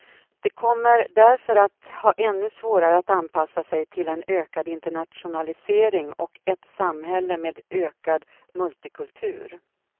De kommer därför att ha ännu svårare att anpassa sig till en ökad internationalisering och ett samhälle med ökad multikultur.